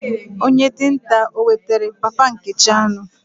Onye dinta o wetara papa Nkechi anu?